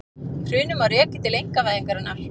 Hrunið má rekja til einkavæðingarinnar